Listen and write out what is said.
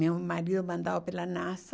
Meu marido mandava pela NASA.